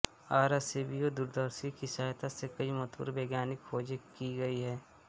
Arecibo दूरदर्शी की सहायता से कई महत्वपूर्ण वैज्ञानिक खोजें की गई है